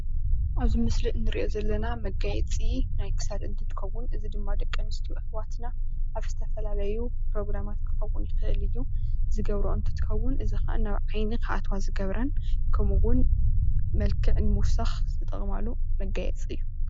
ኣብዚ ምስሊ እንሪኦ ዘለና መጋየፂ ናይ ክሳድ እንትከውን እዚ ድማ ደቂ ኣንስትዮ ኣሕዋትና ኣብ ዝተፈላለዩ ፕሮግራማት ክከውን ይክእል እዩ ዝገብርኦ እንትከውን እዚ ድማ ናብ ዓይኒ ክኣትዋ ዝገብረን ከምኡውን መልክዕ ንምውሳክ ዝጥቀማሉ መጋየፂ እዩ፡፡